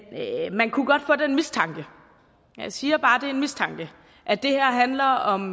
man kunne godt få den mistanke og jeg siger bare er en mistanke at det her handler om